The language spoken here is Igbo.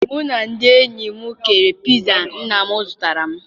Mụ na ndị enyi m keere piza nna m zụtara m.